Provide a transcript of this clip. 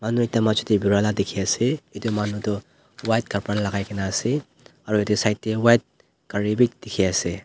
manu ekta majo tae birai la dikhiase edu manu toh white kapra lakaikaena ase aru edu la side tae white gari bi dikhiase.